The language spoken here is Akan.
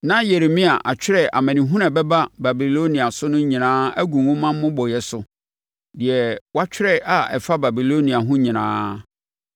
Na Yeremia atwerɛ amanehunu a ɛbɛba Babilonia so no nyinaa agu nwoma mmobɔeɛ so, deɛ watwerɛ a ɛfa Babilonia ho nyinaa.